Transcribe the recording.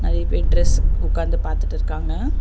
நெறைய பேர் ட்ரெஸ்ஸு உக்காந்து பாத்துட்டுருக்காங்க.